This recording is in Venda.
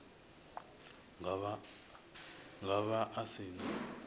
nga vha a si na